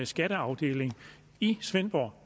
skatteafdeling i svendborg